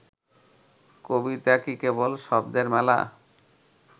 কবিতা কি কেবল শব্দের মেলা